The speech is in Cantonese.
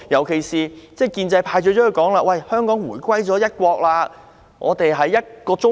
建制派最喜歡說，"香港回歸一國，我們是一個中國"。